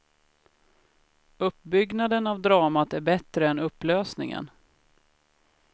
Uppbyggnaden av dramat är bättre än upplösningen.